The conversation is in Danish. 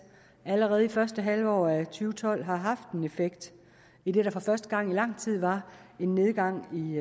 allerede i første halvår af to tolv har haft en effekt idet der for første gang i lang tid var en nedgang i